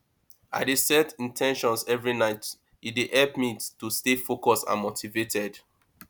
i dey set in ten tions every night e dey help me to stay focused and motivated